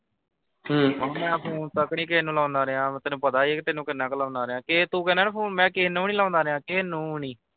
ਓਹ ਮੈਂ phone ਤੱਕ ਵੀ ਕਿਹੇ ਨੂੰ ਲਾਉਣਾ ਰਿਹਾ ਵਾਂ ਤੈਨੂੰ ਪਤਾ ਈ ਆ ਤੈਨੂੰ ਕਿੰਨ੍ਹਾਂ ਕਿ ਲਾਉਦਾ ਰਿਹਾ ਕਿ ਤੂੰ ਕਹਿੰਦਾ ਕਿ phone ਮੈਂ ਕਿਹੇ ਨੂੰ ਨੀ ਲਾਉਂਦਾ ਰਿਹਾ ਕਿਹੇ ਨੂੰ ਨੀ।